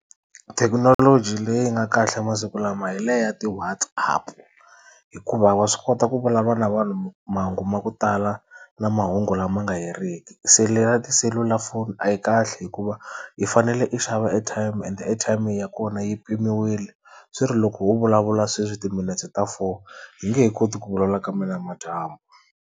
Thekinoloji leyi nga kahle masiku lama hi leya ti-WhatsApp hikuva wa swi kota ku vulavula na vanhu mahungu ma ku tala na mahungu lama nga heriki. Se leya tiselulafoni a yi kahle hikuva i fanele i xava airtime and airtime ya kona yi mpimiwile swi ri loko o vulavula sweswi timinetse ta four h nge he koti ku vulavula kambe namadyambu.